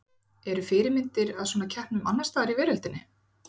Eru fyrirmyndir að svona keppnum annars staðar í veröldinni?